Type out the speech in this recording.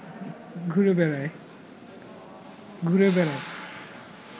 ঘুরে বেরায়